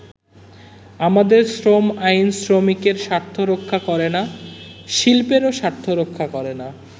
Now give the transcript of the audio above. “আমাদের শ্রম আইন শ্রমিকের স্বার্থ রক্ষা করেনা, শিল্পেরও স্বার্থ রক্ষা করেনা।